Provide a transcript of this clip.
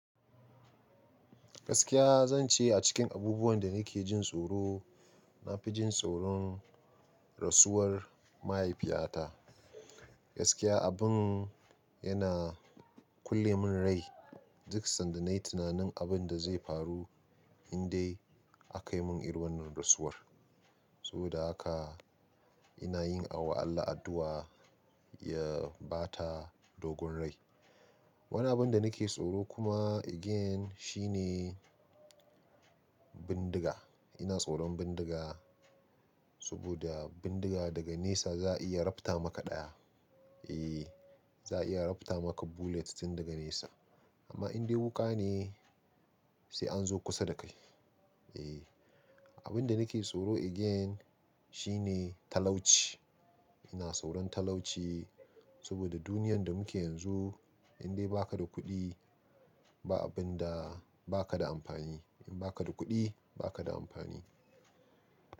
Gaskiya zan ce a cikin abubuwan da nake jin tsoro, na fi jin tsoron rasuwar mahaifiyata. Gaskiya abin yana kulle min rai duk sanda na yi tunanin abin da zai faru in dai a kai mun irin wannan rasuwar. Saboda haka ina yin awaala addu'a ya bata dogon rai. Wani abin da nake tsoro kuma again shine bindiga. Ina tsoron bindiga saboda bindiga daga nesa za a iya rafta maka ɗaya. Eh, za a iya rafta maka bullet tun daga nesa. Amma in dai wuƙa ne, sai an zo kusa da kai. Eh, abin da nake tsoro again shine talauci. Ina tsoron talauci saboda duniyar da muke yanzu, in dai ba ka da kuɗi, ba abin da ba ka da amfani. In ba ka da kuɗi, ba ka da amfani.